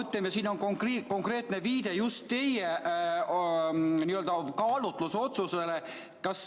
Seaduses on konkreetne viide just teie kaalutlusotsusele.